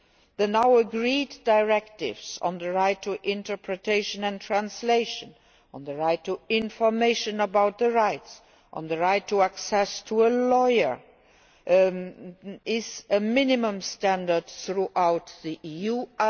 The now agreed directives on the right to interpretation and translation, on the right to information about rights, and on the right of access to a lawyer, constitute minimum standards throughout the